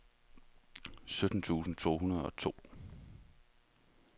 sytten tusind to hundrede og to